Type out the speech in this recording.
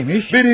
Neymiş?